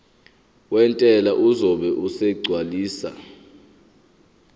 wentela uzobe esegcwalisa